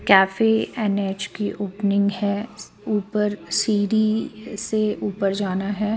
Cafe N_ H की opening है ऊपर सीडी से ऊपर जाना है.